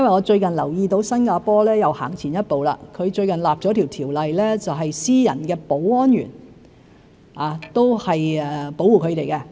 最近我留意到新加坡又走前了一步，訂立了一項條例，保護私人的保安員不受欺凌。